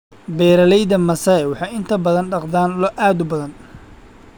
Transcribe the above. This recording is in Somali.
Beeraleyda Maasai waxay inta badan dhaqdaan lo' aad u badan.